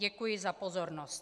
Děkuji za pozornost.